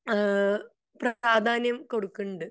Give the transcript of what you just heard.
ഏഹ്ഹ് പ്രാധാന്യം കൊടുക്കിണ്ട്